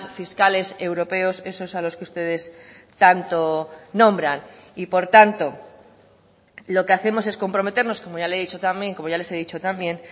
fiscales europeos esos a los que ustedes tanto nombran y por tanto lo que hacemos es comprometernos como ya le he dicho también como ya les he dicho también